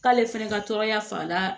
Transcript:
K'ale fɛnɛ ka tɔɔrɔya fa la